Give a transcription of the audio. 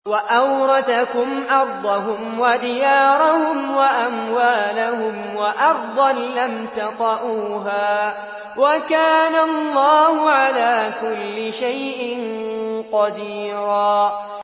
وَأَوْرَثَكُمْ أَرْضَهُمْ وَدِيَارَهُمْ وَأَمْوَالَهُمْ وَأَرْضًا لَّمْ تَطَئُوهَا ۚ وَكَانَ اللَّهُ عَلَىٰ كُلِّ شَيْءٍ قَدِيرًا